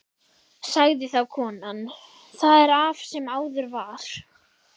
Sagði þá konan: Það er af sem áður var.